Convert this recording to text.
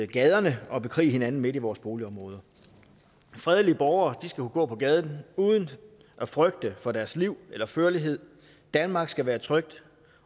gaderne og bekriger hinanden midt i vores boligområder fredelige borgere skal kunne gå på gaden uden at frygte for deres liv eller førlighed danmark skal være et trygt